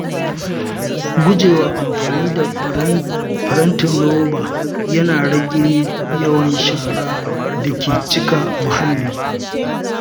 Gujewa amfani da farantin roba yana rage yawan sharar da ke cika muhalli.